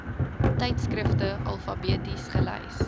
tydskrifte alfabeties gelys